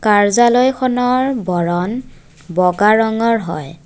কাৰ্য্যালয়খনৰ বৰণ বগা ৰঙৰ হয়।